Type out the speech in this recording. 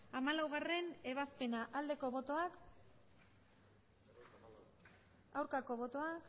hamalaugarrena ebazpena aldeko botoak aurkako botoak